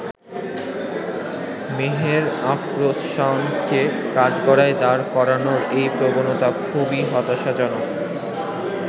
মেহের আফরোজ শাওনকে কাঠগড়ায় দাঁড় করানোর এই প্রবণতা খুবই হতাশাজনক।